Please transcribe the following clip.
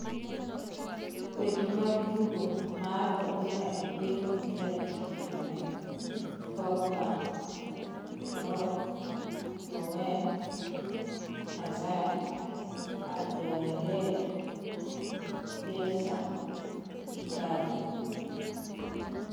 Weche mag Tugo mar Opira e Piny Upira Tich Ang'wen: Pogba, Klopp, Bowen, Hazard, Alderweireld, Bielsa, Icardi